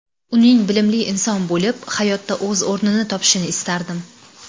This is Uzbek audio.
Uning bilimli inson bo‘lib, hayotda o‘z o‘rnini topishini istardim.